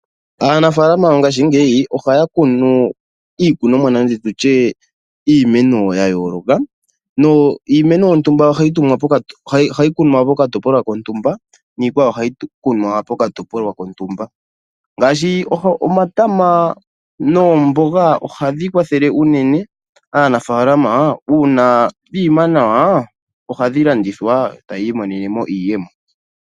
Aanafaalama yongaashingeyi ohaya kunu iikunomwa nenge tutye iimeno ya yooloka, niimeno yontumba ohayi kunwa po katopolwa kontumba, niikwawo ohayi kunwa pokatopolwa kontumba, ngaashi omatama noomboga ohayi kwathele unene aanafaalama uuna dhiima nawa ohadhi landithwa, e taya i monene iiyemo.